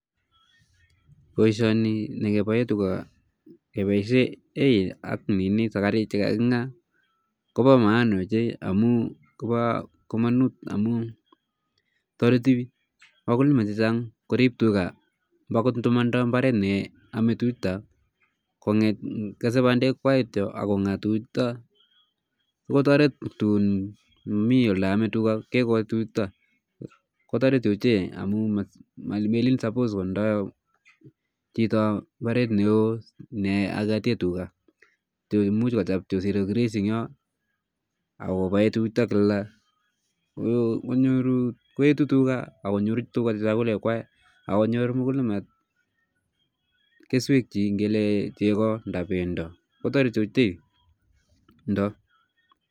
Boisioni ne kebae tuga kepoishe hay ak sakariik chekangingaa koba maana chei, koba kamanut amun toreti wakulima chechang koriip tuga mbo akot ndamatinye imbaaret ne aamei tuchuto, kesei bandekwai kityo ako ngaa tuguchuto ako toret tuun mami ole aame tuchuta kotoret ochei amun melin suppose kotindoi chito imbaaret neo neakatee tuga, much kochop kityo zero grazing eng yo ako bae tuchuta kila konyor, koetu tuga ako nyoru tuga chakulekwai ako nyor mkulima keswekchi ngele chego nda pendo, kotoreti ochei pendo.